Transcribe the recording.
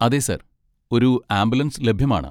അതെ സർ, ഒരു ആംബുലൻസ് ലഭ്യമാണ്.